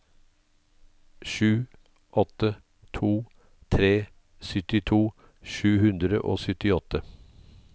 sju åtte to tre syttito sju hundre og syttiåtte